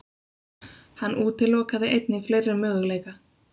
Hann útilokaði einnig fleiri möguleika.